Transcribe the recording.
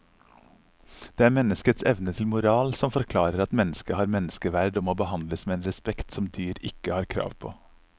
Det er menneskets evne til moral som forklarer at mennesket har menneskeverd og må behandles med en respekt som dyr ikke har krav på.